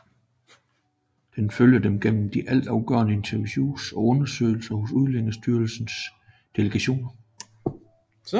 Den følger dem gennem de altafgørende interviews og undersøgelser hos Udlændingestyrelsens delegation